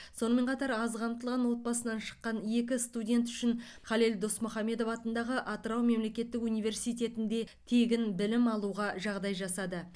сонымен қатар аз қамтылған отбасынан шыққан екі студент үшін халел досмұхамедов атындағы атырау мемлекеттік университетінде тегін білім алуға жағдай жасады